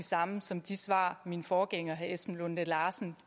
samme som de svar min forgænger herre esben lunde larsen